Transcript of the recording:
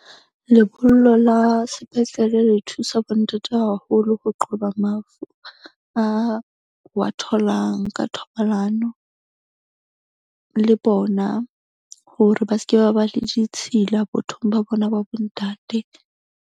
Lebollo la sepetlele le thusa bontate haholo ho qoba mafu a wa tholang ka thobalano le bona, hore ba ske ba ba le ditshila bothong ba bona, ba bo ntate.